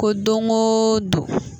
Ko don o don